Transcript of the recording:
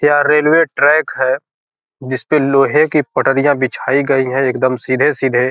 यह railway track है जिसपे लोहे की पटरियाँ बिछाई गई है एकदम सीधे-सीधे।